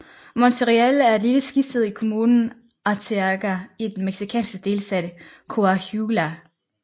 Monterreal er et lille skisted i kommunen Arteaga i den mexicanske delstat Coahuila